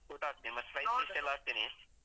ಹ್ಮ photo ಹಾಕ್ತೀನಿ ಮತ್ತ್. surprise ಗೆ ಬರ್ತಿನಿ.